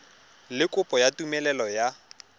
le kopo ya tumelelo ya